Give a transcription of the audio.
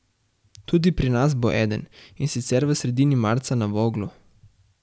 Tudi pri nas bo eden, in sicer v sredini marca na Voglu.